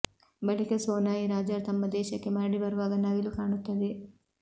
ಬಳಿಕ ಸೋನಾಯಿ ರಾಜರು ತಮ್ಮ ದೇಶಕ್ಕೆ ಮರಳಿ ಬರುವಾಗ ನವಿಲು ಕಾಣುತ್ತದೆ